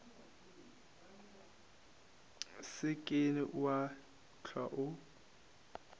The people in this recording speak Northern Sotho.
se ke wa hlwa o